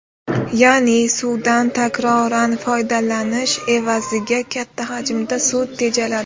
Ya’ni, suvdan takroran foydalanish evaziga katta hajmda suv tejaladi.